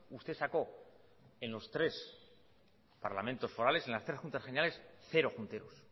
usted sacó en los tres parlamentos forales en las tres juntas generales cero junteros